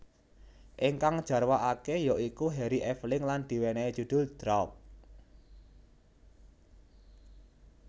Ingkang jarwakake ya iku Harry Aveling lan diwenehi judul Drought